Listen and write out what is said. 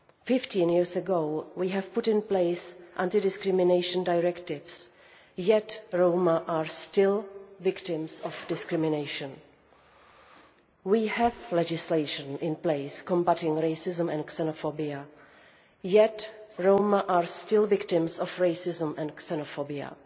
Fifteen years ago we put in place anti discrimination directives, yet Roma are still victims of discrimination. We have legislation in place combating racism and xenophobia, yet Roma are still victims of racism and xenophobia.